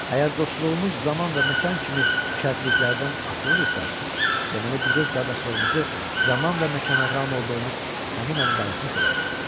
Əgər dostluğumuz zaman və məkan kimi şərtliklərdən asılıdırsa, deməli biz öz qardaşlığımızı zaman və məkanlar amil olduğumuz həmin an dağıtmışıq.